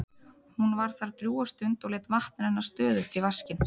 Hún var þar drjúga stund og lét vatn renna stöðugt í vaskinn.